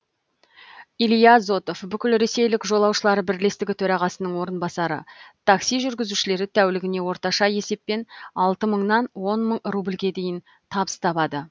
илья зотов бүкілресейлік жолаушылар бірлестігі төрағасының орынбасары такси жүргізушілері тәулігіне орташа есеппен алты мыңнан он мың рубльге дейін табыс табады